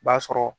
B'a sɔrɔ